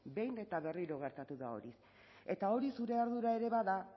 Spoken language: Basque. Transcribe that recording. behin eta berriro gertatu da hori eta hori zure ardura ere bada